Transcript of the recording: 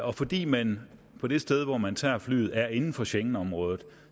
og fordi man på det sted hvor man tager flyet er inden for schengenområdet